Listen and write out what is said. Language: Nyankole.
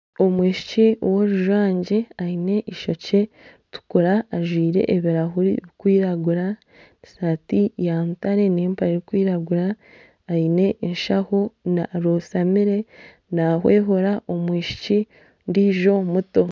Omwishiki worujwangye aine eishokye ririkutukura ajwaire ebirahure birikwiragura esaati ya mutare n'empare erikwiragura aine enshaho arotamire nahwehura omwishiki ondiijo omuto